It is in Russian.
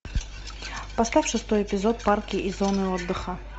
поставь шестой эпизод парки и зоны отдыха